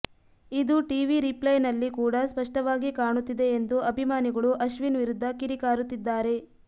ಇದು ಟಿವಿ ರೀಪ್ಲೈನಲ್ಲಿ ಕೂಡ ಸ್ಪಷ್ಟವಾಗಿ ಕಾಣುತ್ತಿದೆ ಎಂದು ಅಭಿಮಾನಿಗಳು ಅಶ್ವಿನ್ ವಿರುದ್ಧ ಕಿಡಿಕಾರುತ್ತಿದ್ದಾರೆ